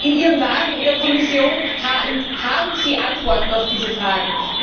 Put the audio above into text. Und in Ihrem Laden, in der Kommission, haben Sie Antworten auf diese Fragen.